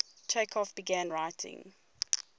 chekhov began writing